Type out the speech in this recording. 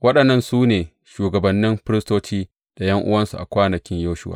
Waɗannan su ne shugabannin firistoci da ’yan’uwansu a kwanakin Yeshuwa.